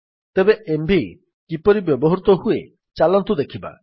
ତେବେ ଏମଭି କିପରି ବ୍ୟବହୃତ ହୁଏ ଚାଲନ୍ତୁ ଦେଖିବା